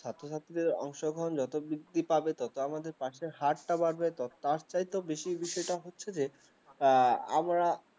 ছাত্র-ছাত্রীদের যত বৃদ্ধি পাবে তত আমাদের pass র হারটা বাড়বে, তার চাইতে বেশির বেছে এটা হচ্ছে যে এ আমরা